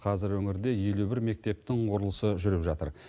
қазір өңірде елу бір мектептің құрылысы жүріп жатыр